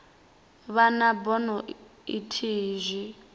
vha na bono ithihi zwi